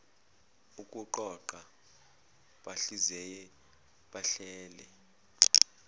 ukuqoqa bahlaziye bahlele